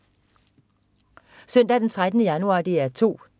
Søndag den 13. januar - DR 2: